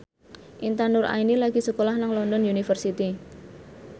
Intan Nuraini lagi sekolah nang London University